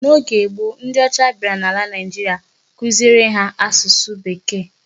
N'oge gboo, ndị ọcha bịara n'ala Naigeria kuziere ha asụsụ Bekee.